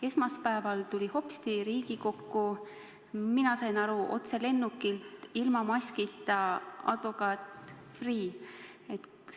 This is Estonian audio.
Esmaspäeval tuli hopsti Riigikokku – mina sain aru, et otse lennukilt – ilma maskita advokaat Freeh.